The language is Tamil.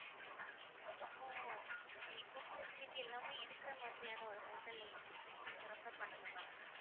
அப்போ food facility எல்லாமே இருக்கிற மாதிரியான ஒரு hotel கொஞ்சம் refer பண்ணுங்க ma'am